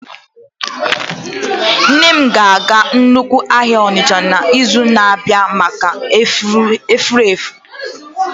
Nne m ga-aga nnukwu ahịa Onitsha n'izu na-abịa maka Afufara